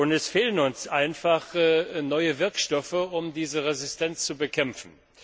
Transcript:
Es fehlen uns einfach neue Wirkstoffe, um diese Resistenz zu bekämpfen.